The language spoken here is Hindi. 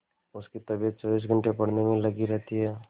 उसकी तबीयत चौबीस घंटे पढ़ने में ही लगी रहती है